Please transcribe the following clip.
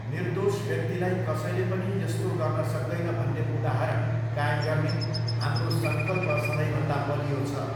निर्दोष व्यक्तिलाई कसैले पनि यस्तो गर्न सक्दैन भन्ने उदाहरण कायम गर्ने हाम्रो सङ्कल्प सधैँभन्दा बलियो छ।